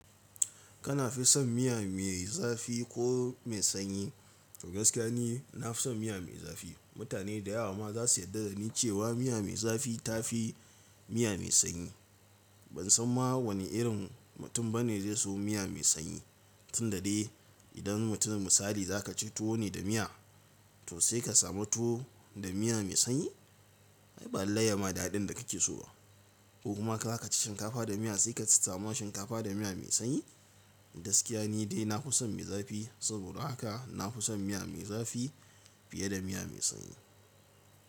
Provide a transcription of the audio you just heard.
Kana fi son miya mai zafi ko mai sanyi? Gaskiya ne, na fi son miya mai zafi. Mutane da yawa ma za su yarda da ni cewa miya mai zafi ta fi miya mai sanyi. Ban san ma wane irin mutum ba ne zai so miya mai sanyi. Tun da dai idan mutumin misali za ka ci tuwo ne da miya, to sai ka samu tuwo da miya mai sanyi? Ai ba lallai ya ma da daɗin da kake so ba. Ko kuma za ka ci shinkafa da miya sai ka samu shinkafa da miya mai sanyi? Gaskiya ne dai na fi son mai zafi. Saboda haka na fi son miya mai zafi fiye da miya mai sanyi.